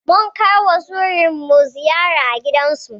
Munkaiwa surikanmu ziyara a gidansu.